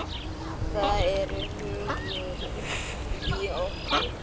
Það er hugur í okkur.